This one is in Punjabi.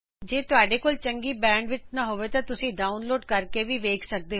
ਜੇ ਤੁਹਾਡੇ ਕੋਲ ਚੰਗੀ ਬੈਂਡਵਿੱਥ ਨਹੀਂ ਹੈ ਤਾ ਤੁਸੀ ਇਸਨੂੰ ਡਾਊਨਲੋਡ ਕਰਕੇ ਵੀ ਦੇਖ ਸਕਦੇ ਹੋ